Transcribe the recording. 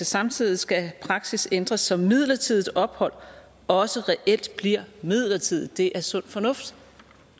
samtidig skal praksis ændres så midlertidigt ophold også reelt bliver midlertidigt det er sund fornuft